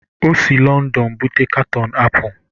O si Lọndọn bụbata katọn apụl.